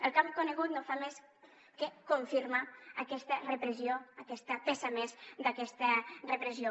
el que hem conegut no fa més que confirmar aquesta repressió aquesta peça més d’aquesta repressió